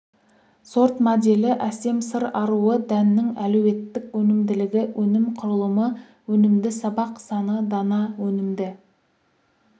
сорт моделі әсем сыр аруы дәннің әлеуеттік өнімділігі өнім құрылымы өнімді сабақ саны дана өнімді